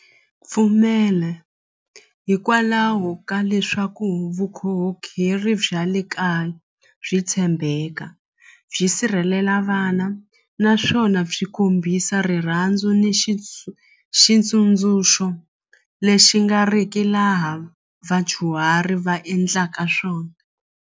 Pfumela hikwalaho ka leswaku vukhongeri bya le kaya byi tshembeka byi sirhelela vana naswona byi kombisa rirhandzu ni xitsundzuxo lexi nga riki laha vadyuhari va endlaka swona.